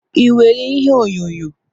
Ị nwere ihe onyonyo?